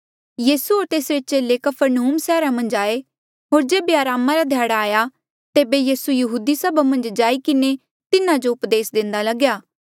यीसू होर तेसरे चेले कफरनहूम सैहरा मन्झ आये होर जेबे अरामा रा ध्याड़ा आया तेबे यीसू यहूदी सभा मन्झ जाई किन्हें तिन्हा जो उपदेस देंदा लगेया